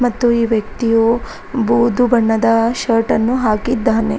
ಮತ್ತು ಈ ವ್ಯಕ್ತಿಯು ಬುದೂ ಬಣ್ಣದ ಶರ್ಟನ್ನು ಹಾಕಿದ್ದಾನೆ.